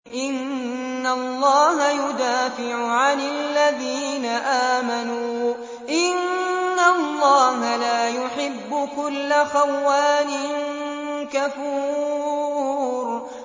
۞ إِنَّ اللَّهَ يُدَافِعُ عَنِ الَّذِينَ آمَنُوا ۗ إِنَّ اللَّهَ لَا يُحِبُّ كُلَّ خَوَّانٍ كَفُورٍ